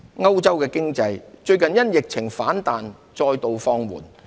歐洲經濟最近因疫情反彈再度放緩。